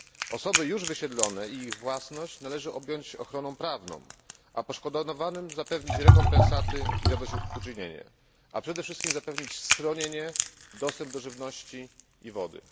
Osoby już wysiedlone i ich własność należy objąć ochroną prawną, poszkodowanym zapewnić rekompensaty i zadośćuczynienie, a przede wszystkim zapewnić schronienie, dostęp do żywności i wody.